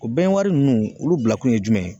O nunnu olu bilakun ye jumɛn ye ?